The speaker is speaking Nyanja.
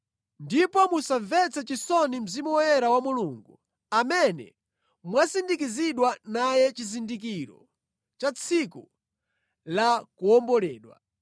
Ndipo musamvetse chisoni Mzimu Woyera wa Mulungu amene mwasindikizidwa naye chizindikiro cha tsiku la kuwomboledwa.